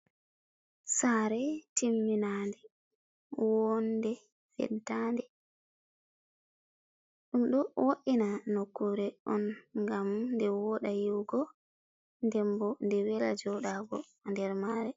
Sare timminande wonde pentande. ɗum ɗo wo’ina nokkure on ngam nde woɗa yi'ugo, nden bo nde wela joɗago nder mare.